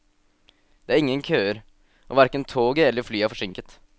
Det er ingen køer, og hverken toget eller flyet er forsinket.